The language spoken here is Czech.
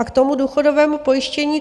A k tomu důchodovému pojištění.